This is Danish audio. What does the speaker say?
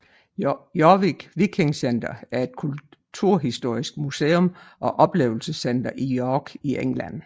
Jorvik Viking Centre er et kulturhistorisk museum og oplevelsescenter i York i England